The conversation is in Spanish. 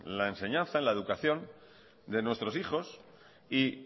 la enseñanza en la educación de nuestros hijos y